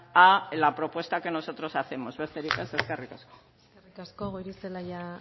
a la propuesta que nosotros hacemos besterik ez eskerrik asko eskerrik asko goirizelaia